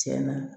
Tiɲɛna